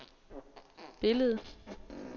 billedet